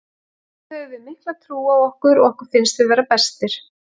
Þá höfum við mikla trú á okkur og okkur finnst við vera bestir.